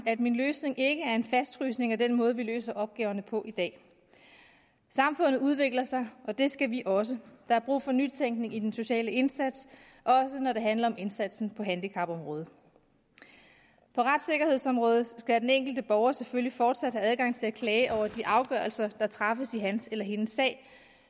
at min løsning ikke er en fastfrysning af den måde vi løser opgaverne på i dag samfundet udvikler sig og det skal vi også der er brug for nytænkning i den sociale indsats også når det handler om indsatsen på handicapområdet på retssikkerhedsområdet skal den enkelte borger selvfølgelig fortsat have adgang til at klage over de afgørelser der træffes i hans eller hendes sag